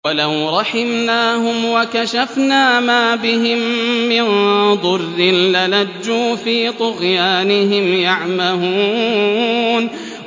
۞ وَلَوْ رَحِمْنَاهُمْ وَكَشَفْنَا مَا بِهِم مِّن ضُرٍّ لَّلَجُّوا فِي طُغْيَانِهِمْ يَعْمَهُونَ